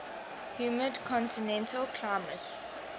humid continental climate